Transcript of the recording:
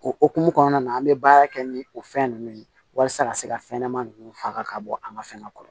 O hokumu kɔnɔna na an bɛ baara kɛ ni o fɛn nunnu ye walasa ka se ka fɛn ɲɛnama ninnu faga ka bɔ an ka fɛnkɛ kɔrɔ